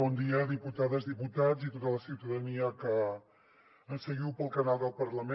bon dia diputades diputats i tota la ciutadania que ens seguiu pel canal del parlament